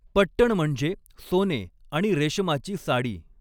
पट्टण म्हणजे सोने आणि रेशमाची साडी.